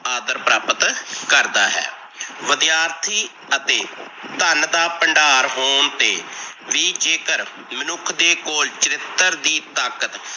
ਆਦਰ ਪ੍ਰਾਪਤ ਕਰਦਾ ਹੈ। ਵਿਦਿਆਰਥੀ ਅਤੇ ਧਨ ਦਾ ਭੰਡਾਰ ਹੋਣ ਤੇ ਵੀ ਜੇਕਰ ਮਨੁੱਖ ਦੇ ਕੋਲ ਚਰਿਤਰ ਦੀ ਤਾਕਤ